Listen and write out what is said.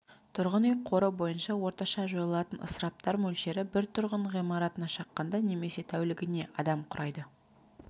тұрғын үй қоры бойынша орташа жойылатын ысыраптар мөлшері бір тұрғын ғимаратына шаққанда немесе тәулігіне адам құрайды